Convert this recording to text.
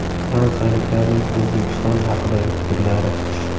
Fransiyaliklarning O‘zbekiston haqidagi fikrlari.